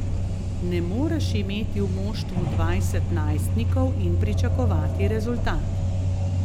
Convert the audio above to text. Ne moreš imeti v moštvu dvajset najstnikov in pričakovati rezultat.